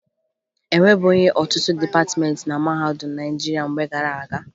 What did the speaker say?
E nwebughi ọtụtụ dịpatịmeentị na mahadum Naịjirịa mgbe gara aga